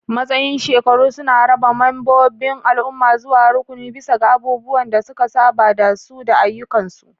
Matsayin shekaru suna rarraba membobin al'umma zuwa rukuni bisa ga abubuwan da suka saba da su da ayyukansu.